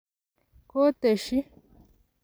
ko tesyi.